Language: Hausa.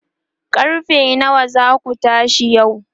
karfe nawa zaku tashi yau?